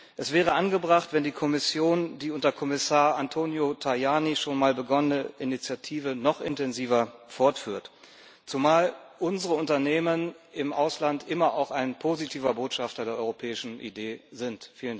Es wäre angebracht, wenn die Kommission die unter Kommissar Antonio Tajani bereits begonnene Initiative noch intensiver fortführt zumal unsere Unternehmen im Ausland immer auch ein positiver Botschafter der europäischen Idee sind.